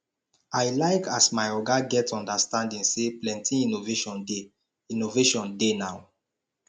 i like as my oga get understanding sey plenty innovation dey innovation dey now